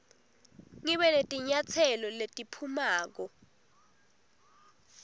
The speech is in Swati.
ngibe netinyatselo letiphumako